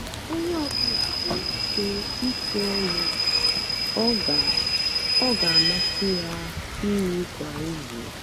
onye ọ bụla nwere ike ikwu ọlụ ọ ga ọ ga amasị ya ịrụ kwa izu.